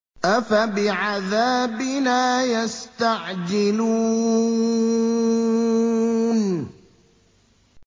أَفَبِعَذَابِنَا يَسْتَعْجِلُونَ